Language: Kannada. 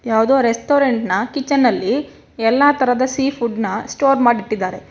ಯಾವುದೋ ರೆಸ್ಟೋರೆಂಟ್ ನ ಕಿಚನ್ ಅಲ್ಲಿ ಎಲ್ಲಾ ತರಹದ ಸೀ ಫುಡ್ ನ ಸ್ಟೋರ್ ಮಾಡಿ ಇಟ್ಟಿದ್ದಾರೆ.